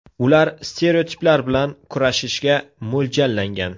Ular stereotiplar bilan kurashishga mo‘ljallangan.